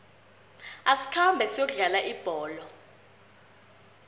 asikhambe siyokudlala ibholo